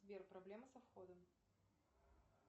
сбер проблема со входом